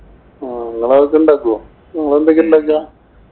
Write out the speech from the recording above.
ആഹ് നിങ്ങള് അതൊക്കെ ഉണ്ടാക്കുവോ? നിങ്ങള് എന്തൊക്കെയാ ഉണ്ടാക്കുക?